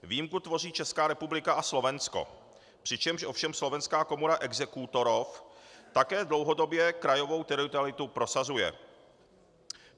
Výjimku tvoří Česká republika a Slovensko, přičemž ovšem Slovenská komora exekútorov také dlouhodobě krajovou teritorialitu prosazuje.